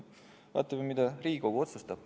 Vaatame, mida Riigikogu otsustab.